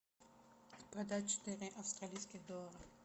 продать четыре австралийских доллара